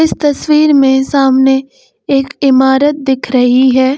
तस्वीर में सामने एक इमारत दिख रही है।